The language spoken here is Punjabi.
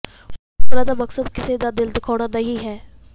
ਉਹਨਾਂ ਦਾ ਮਕਸਦ ਕਿਸੇ ਦਾ ਦਿਲ ਦੁਖਾਉਣਾ ਨਹੀਂ ਹੈ